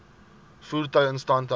voertuie instandhouding